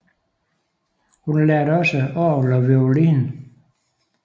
Hun lærte også orgel og violin